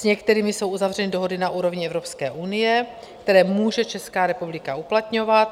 S některými jsou uzavřeny dohody na úrovni Evropské unie, které může Česká republika uplatňovat.